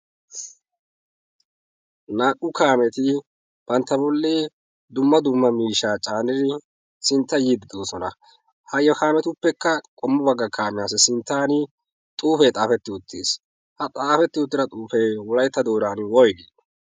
naa'u kaameti bantta bolli dumma dumma miishaa caanidi sintta yiiddidoosona. ha kaametuppekka qomma bagga kaamiyaassi sinttan xuufee xaafetti uttiis. ha xaafetti uttida xuufee wolaytta dooran woygii?